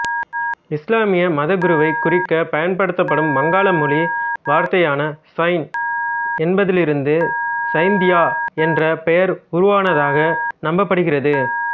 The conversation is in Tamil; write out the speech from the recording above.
இசுலாமிய மதகுருவை குறிக்கப் பயன்படுத்தப்படும் வங்காள மொழி வார்த்தையான சைன் என்பதிலிருந்து சைந்தியா என்ற பெயர் உருவானதாக நம்பப்படுகிறது